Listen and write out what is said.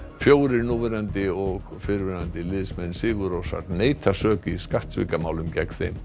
fjórir núverandi og fyrrverandi liðsmenn sigur Rósar neita sök í skattsvikamálum gegn þeim